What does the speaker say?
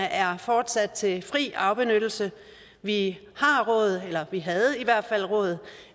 er fortsat til fri afbenyttelse vi har råd eller vi havde i hvert fald råd